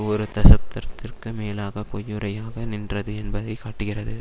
ஒரு தசப்தர்த்திற்கு மேலாக பொய்யுரையாக நின்றது என்பதை காட்டுகிறது